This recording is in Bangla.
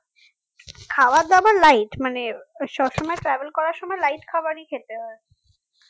খাবার দাবার light মানে সব সময় travel করার সময় light খাবারই খেতে হয়